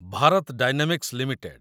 Bharat Dynamics limited